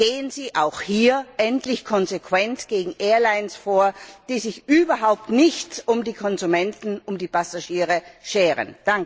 Gehen Sie auch hier endlich konsequent gegen Airlines vor, die sich überhaupt nicht um die Konsumenten, um die Passagiere scheren!